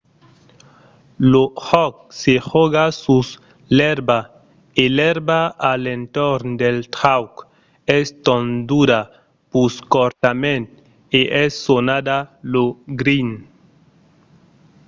lo jòc se jòga sus l'èrba e l'èrba a l'entorn del trauc es tonduda pus cortament e es sonada lo green